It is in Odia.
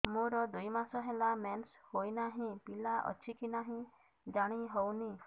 ମୋର ଦୁଇ ମାସ ହେଲା ମେନ୍ସେସ ହୋଇ ନାହିଁ ପିଲା ଅଛି କି ନାହିଁ ଜାଣି ହେଉନି